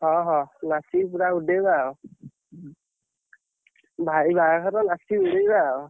ହଁ ହଁ, ନାଚିକି ପୁରା ଉଡେଇବେ ଆଉ ଭାଇ ବାହାଘର ନାଚିକି ପୁରା ଉଡେଇବେ ଆଉ।